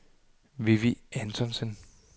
Vivi Antonsen